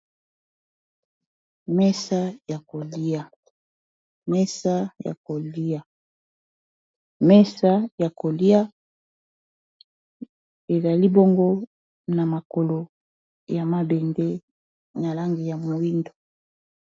mesa ya kolia ezali bongo na makolo ya mabende na langi ya mowindo